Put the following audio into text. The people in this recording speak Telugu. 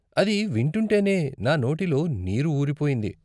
అది వింటుంటేనే నా నోటిలో నీరు ఊరిపోయింది.